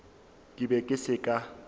ke be ke se ka